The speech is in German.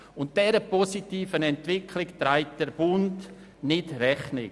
Dieser positiven Entwicklung trägt der Bund nicht Rechnung.